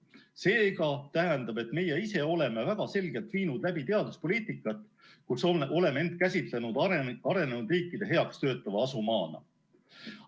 See aga tähendab, et meie ise oleme väga selgelt viinud läbi teaduspoliitikat, kus oleme end käsitlenud arenenud riikide heaks töötava asumaana.